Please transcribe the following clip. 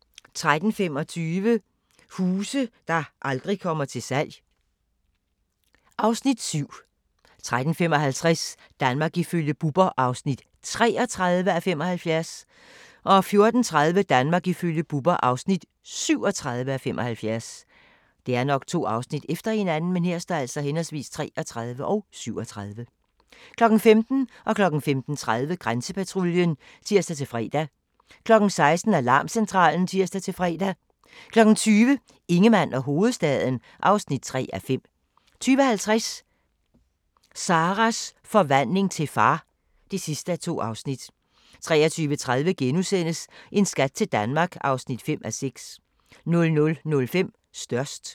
13:25: Huse der aldrig kommer til salg (Afs. 7) 13:55: Danmark ifølge Bubber (33:75) 14:30: Danmark ifølge Bubber (37:75) 15:00: Grænsepatruljen (tir-fre) 15:30: Grænsepatruljen (tir-fre) 16:00: Alarmcentralen (tir-fre) 20:00: Ingemann og hovedstaden (3:5) 20:50: Sarahs forvandling til far (2:2) 23:30: En skat til Danmark (5:6)* 00:05: Størst